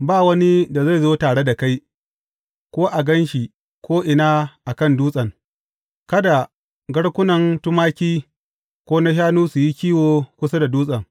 Ba wani da zai zo tare da kai, ko a gan shi ko’ina a kan dutsen, kada garkunan tumaki ko na shanu su yi kiwo kusa da dutsen.